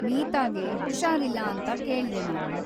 ಮೀತಾಗೆ ಹುಷಾರಿಲ್ಲ ಅಂತ ಕೇಳ್ದೆ ನಾನು.